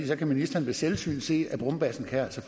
så kan ministeren ved selvsyn se at brumbassen altså